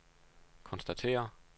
konstaterer